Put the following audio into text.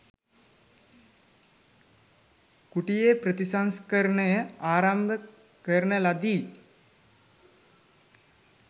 කුටියේ ප්‍රතිසංස්කරනය ආරම්භකරන ලදී.